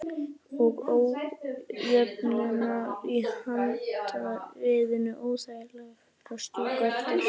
Og ójöfnurnar í handriðinu óþægilegar að strjúka eftir.